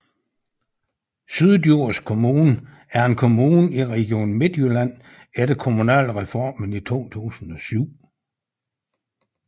Syddjurs Kommune er en kommune i Region Midtjylland efter Kommunalreformen i 2007